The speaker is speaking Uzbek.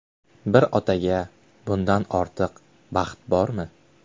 Bir otaga bundan ortiq baxt bormi?